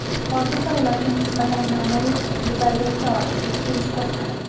Hozirda ularga nisbatan ma’muriy huquqbuzarlikka oid ikki ish qo‘zg‘atilgan.